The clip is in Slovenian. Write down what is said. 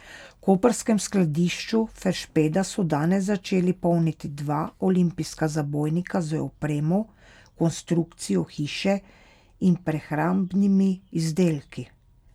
V koprskem skladišču Feršpeda so danes začeli polniti dva olimpijska zabojnika z opremo, konstrukcijo hiše in prehrambnimi izdelki.